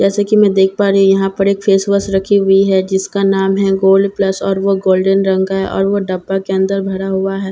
जैसा कि मैं देख पा रही हूं यहां पर एक फेशवॉश रखी हुई है जिसका नाम है गोल्ड पल्स और वो गोल्डेन रंग का है और वो डब्बे के अंदर भरा हुआ है ज--